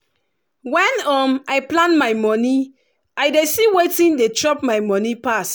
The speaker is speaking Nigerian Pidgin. when um i plan my money i dey see wetin dey chop my money pass.